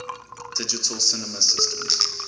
digital cinema systems